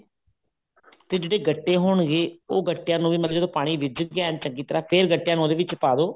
ਤੇ ਜਿਹੜੇ ਗੱਟੇ ਹੋਣਗੇ ਉਹ ਗੱਟਿਆ ਨੂੰ ਵੀ ਮਤਲਬ ਜਦੋਂ ਪਾਣੀ ਰਿੱਝ ਗਿਆ ਚੰਗੀ ਤਰ੍ਹਾਂ ਫ਼ੇਰ ਗੱਟਿਆ ਨੂੰ ਉਹਦੇ ਵਿੱਚ ਪਾਦੋ